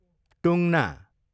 टुङ्ना